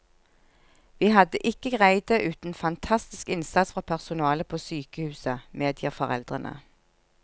Vi hadde ikke greid det uten fantastisk innsats fra personalet på sykehuset, medgir foreldrene.